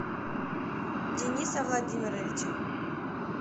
дениса владимировича